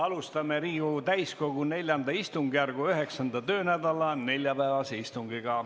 Alustame Riigikogu täiskogu IV istungjärgu 9. töönädala neljapäevast istungit.